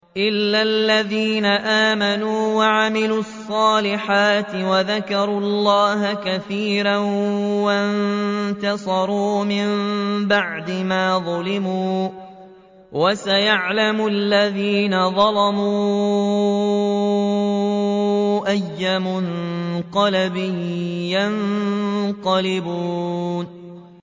إِلَّا الَّذِينَ آمَنُوا وَعَمِلُوا الصَّالِحَاتِ وَذَكَرُوا اللَّهَ كَثِيرًا وَانتَصَرُوا مِن بَعْدِ مَا ظُلِمُوا ۗ وَسَيَعْلَمُ الَّذِينَ ظَلَمُوا أَيَّ مُنقَلَبٍ يَنقَلِبُونَ